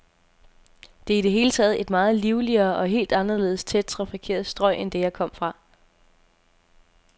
Det er i det hele taget et meget livligere, et helt anderledes tæt trafikeret strøg end det, jeg kom fra.